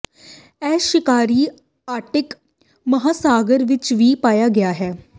ਇਹ ਸ਼ਿਕਾਰੀ ਆਰਕਟਿਕ ਮਹਾਸਾਗਰ ਵਿਚ ਵੀ ਪਾਇਆ ਗਿਆ ਹੈ